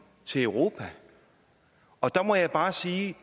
til europa og der må jeg bare sige at